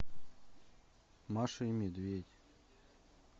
маша и медведь